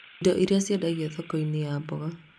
indo iria ciendagio thoko-inĩ ya mboga